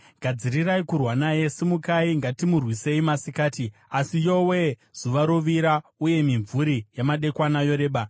Gadzirirai kurwa naye! Simukai, ngatimurwisei masikati! “Asi, yowe-e, zuva rovira, uye mimvuri yamadekwana yoreba.